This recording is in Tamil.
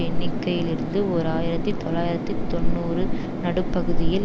எண்ணிக்கையிலிருந்து ஓர் ஆயிரத்தி தொள்ளாயிரத்தி தொன்னூறு நடுப்பகுதியில்